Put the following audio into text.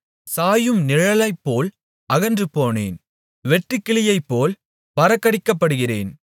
சாயும் நிழலைப்போல் அகன்றுபோனேன் வெட்டுக்கிளியைப்போல் பறக்கடிக்கப்படுகிறேன்